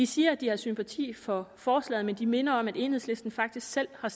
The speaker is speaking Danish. siger at de har sympati for forslaget men de minder om at enhedslisten faktisk selv har